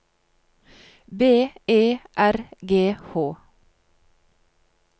B E R G H